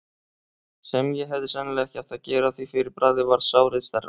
sem ég hefði sennilega ekki átt að gera, því fyrir bragðið varð sárið stærra.